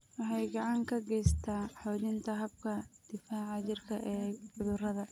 Waxay gacan ka geysataa xoojinta habka difaaca jirka ee cudurrada.